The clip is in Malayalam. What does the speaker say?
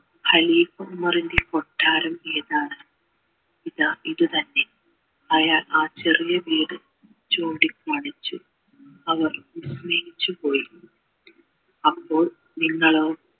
കുമാറിൻ്റെ കൊട്ടാരം ഏതാണ് ഇതാ ഇത് തന്നെ അയാൾ ആ ചെറിയ വീട് ചൂണ്ടി കാണിച്ചു അവർ പോയി അപ്പോൾ നിങ്ങളോ